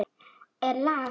Nú er lag!